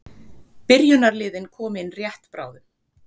Byrjunarliðin koma inn rétt bráðum.